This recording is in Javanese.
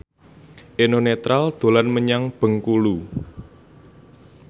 Eno Netral dolan menyang Bengkulu